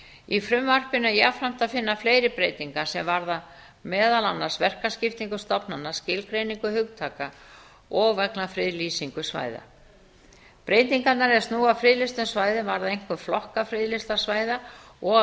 í frumvarpinu er jafnframt að finna fleiri breytingar sem varða meðal annars verkaskiptingu stofnana skilgreiningu hugtaka og vegna friðlýsingar svæða breytingarnar er snúa að friðlýstum svæðum varða einkum flokka friðlýstra svæða og